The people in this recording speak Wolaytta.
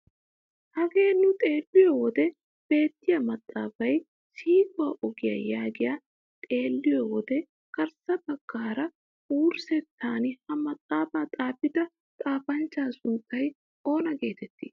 Hagee nu xeelliyoo wode beettiyaa maxaafay siquwaa ogiyaa yaagiyaa xeelliyoo wode garssa baggaara wurssettan ha maxaafaa xaafida xaafanchchaa sunttay oona getettii?